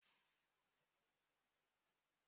Ị hụrụ ahịhịa n'ozara?